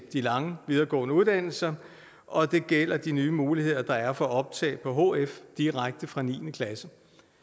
de lange videregående uddannelser og det gælder de nye muligheder der er for optag på hf direkte fra niende klasse